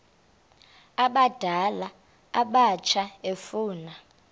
abadala abatsha efuna